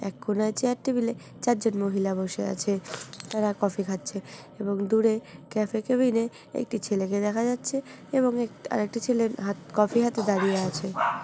এক কোনায় চার টেবিলে চারজন মহিলা বসে আছে তারা কফি খাচ্ছে এবং দূরে ক্যাফে কেবিন -এ একটি ছেলে কে দেখা যাচ্ছে এবং এক আর একটি ছেলের হাত কফি হাতে দাঁড়িয়ে আছে।